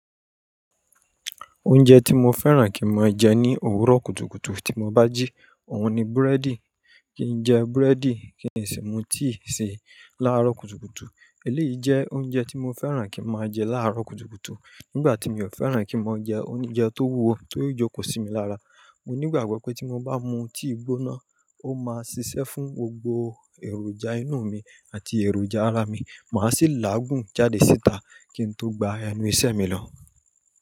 Oúnjẹ tí mo fẹ́ràn kí n máa jẹ ní òwúrọ̀ kùtùkùtù tí mo bá jí, òun ni búrẹ́dì. Kí n jẹ búrẹ́dì, kí n sì mu tíì si láàárọ̀ kùtùkùtù. Èléyìí jẹ́ oúnjẹ tí mo fẹ́ràn kí n máa jẹ láàárọ̀ kùtùkùtù. Nígbà tí mi ò fẹ́ràn kí n máa jẹ oúnjẹ tó wúwo, ti ó jókòó sí mi lára. Mo ní ìgbàgbọ́ pé tí mo bá mu tíì gbóná, ó máa ṣiṣẹ́ fún gbogbo èròjà inú mi àti èròjà ara mi. Máa sì láàgùn jáde síta kí n tó gba ẹnu ìṣẹ́ mi lọ.